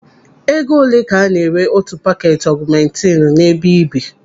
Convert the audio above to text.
Ego olee ka a na-ere otu paketi ọgụmentinu n'ebe ị bi?